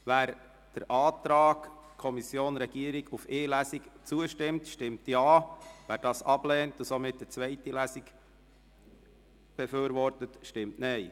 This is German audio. Wer dem Antrag von Regierung und Kommission auf nur eine Lesung zustimmt, stimmt Ja, wer dies ablehnt und somit eine zweite Lesung befürwortet, stimmt Nein.